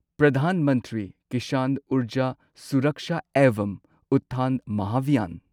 Pradhan Mantri Kisan Urja Suraksha evam Utthan Mahabhiyan